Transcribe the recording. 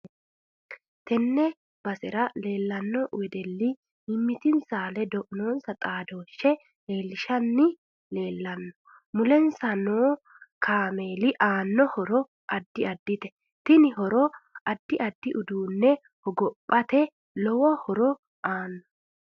Tene basera leelanno wedelli mimitinsa ledo noonsa xaadooshe leelishanni leelanno. mulensa leelanno kaameeli anno horo addi addite tini horono addi addi uduune hogophate lowo horo aano